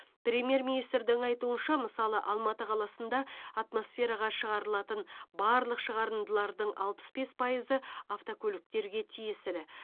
премьер министрдің айтуынша мысалы алматы қаласында атмосфераға шығарылатын барлық шығарындылардың алпыс бес пайызы автокөліктерге тиесілі